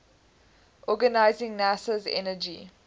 organizing nasa's energy